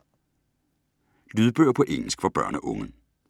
Lydbøger på engelsk for børn og unge